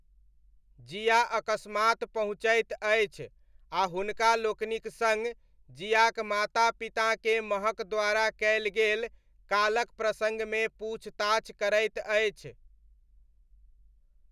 जिया अकस्मात पहुँचैत अछि आ हुनका लोकनिक सङ्ग जियाक माता पिताकेँ महक द्वारा कयल गेल कालक प्रसङ्गमे पूछताछ करैत अछि।